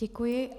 Děkuji.